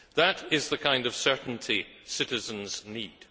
That is the kind of certainty citizens need.